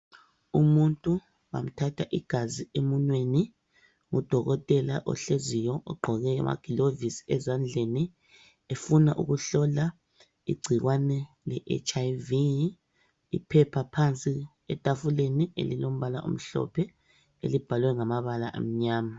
Umuntu bamthatha igazi emunweni ngudokotela ohleziyo ogqoke amagilovisi ezandleni, efuna ukuhlola igcikwane leHIV. Iphepha phansi etafuleni elilombala omhlophe elibhalwe ngamabala amnyama.